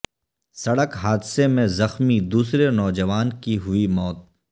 سڑک حادثہ میں زخمی دوسرے نوجوان کی ہوئی موت